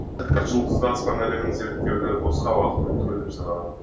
жұлдызды аспан әлемін зерттеуді босқа уақыт өлтіру деп санаған